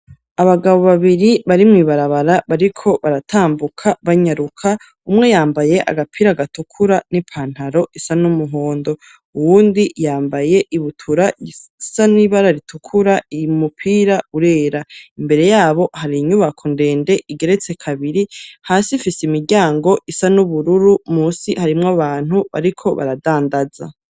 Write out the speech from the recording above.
Abagabo babiri bari mw' ibarabara bariko baratambuka banyaruka, umwe yambaye agapira gatukura n'ipantaro isa n'umuhondo, uwundi yambaye ibutura isa n'ibara ritukura uyimupira urera imbere yabo hari inyubako ndende igeretse kabiri,, hasi ifise imiryango isa n'ubururu, munsi harimwo abantu bariko baradandaza.